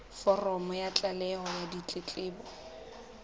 foromo ya tlaleho ya ditletlebo